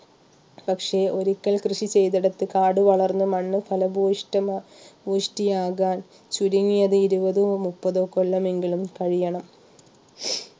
പക്ഷേ ഒരിക്കൽ കൃഷി ചെയ്തെടുത്തേക്ക് കാട് വളർന്ന് മണ്ണ് ഫലപൂഷ്ഠമ പുഷ്ടിയാകാൻ ചുരുങ്ങിയത് ഇരുപതോ മുപ്പതോ കൊല്ലം എങ്കിലും കഴിയണം